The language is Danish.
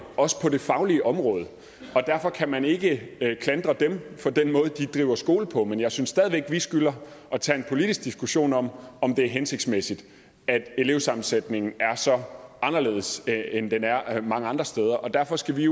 også på det faglige område og derfor kan man ikke klandre dem for den måde de driver skole på men jeg synes stadig væk at vi skylder at tage en politisk diskussion om om det er hensigtsmæssigt at elevsammensætningen er så anderledes end den er mange andre steder og derfor skal vi